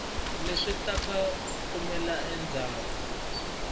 leswi nga ta kumeka endzhaku